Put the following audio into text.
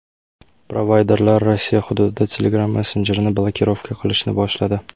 Provayderlar Rossiya hududida Telegram messenjerini blokirovka qilishni boshladi.